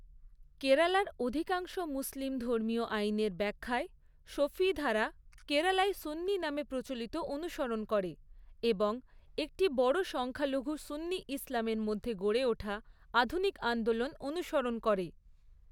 কেরালার অধিকাংশ মুসলিম ধর্মীয় আইনের ব্যাখ্যায় শাফিঈধারা কেরালায় সুন্নি নামে প্রচলিত অনুসরণ করে এবং একটি বড় সংখ্যালঘু সুন্নি ইসলামের মধ্যে গড়ে ওঠা আধুনিক আন্দোলন অনুসরণ করে।